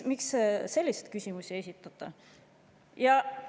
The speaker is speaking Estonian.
Miks selliseid küsimusi ei esitata?